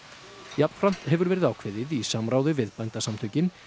jafnframt hefur verið ákveðið í samráði við Bændasamtökin